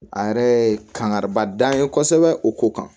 A yɛrɛ ye kangariba dan ye kosɛbɛ o ko kan